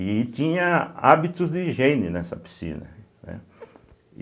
e tinha hábitos de higiene nessa piscina, né.